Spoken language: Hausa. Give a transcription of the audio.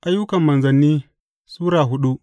Ayyukan Manzanni Sura hudu